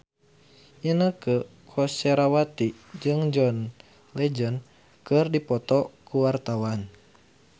Inneke Koesherawati jeung John Legend keur dipoto ku wartawan